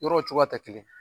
Yɔrɔw cogoya tɛ kelen.